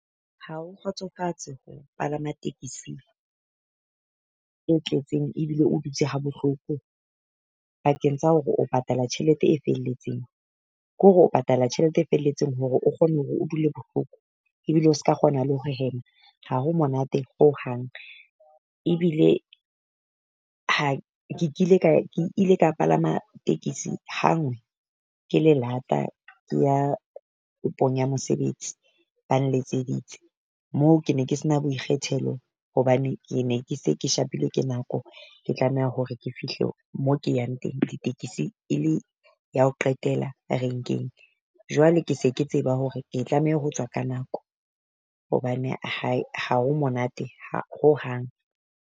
Ha o kgotsofatse ho palama tekisi e tletseng ebile o dutse ha bohloko pakeng tsa hore o patala tjhelete e felletseng. Ke hore o patala tjhelete e felletseng hore o kgone hore o dule bohloko ebile o ska kgona le ho hema ha ho monate hohang. Ebile ha ke ile ka e ke ile palama tekisi ha ngwe ke le lata ke ya kopong ya mosebetsi ba nletseditse. Moo ke ne ke se na boikgethelo hobane ke ne ke se ke shapilwe ke nako ke tlameha hore ke fihle mo ke yang teng. Ditekesi e le ya ho qetela a renkeng, jwale ke se ke tseba hore ke tlameha ho tswa ka nako hobane ha e ha ho monate ha hohang.